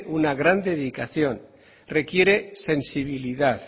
una gran dedicación requiere sensibilidad